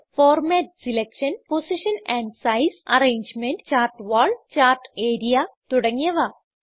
format selection position and size arrangement chart wall chart area തുടങ്ങിയവ